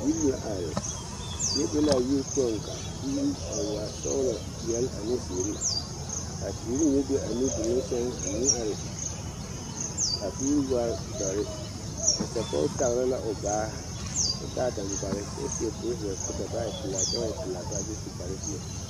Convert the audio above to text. Yiri la are teɛ be a yiri poɔ ka o puure a waa sɔglɔ ane ziiri kaa teere mine be a nudoluŋ saŋ a meŋ are ka puure waa doɔre nasapɔge taare la o baa kyɛ taa dangbele kyɛ seɛ traza koo da boɔ naa e pelaa kyɛ ba e pelaa baare kyɛ su kpare ziɛ.